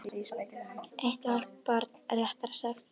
Eitt og hálft barn, réttara sagt.